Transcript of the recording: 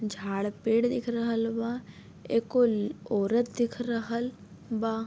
झाड़ पेड़ दिख रहल बा। एक को ल औरत दिख रहल बा।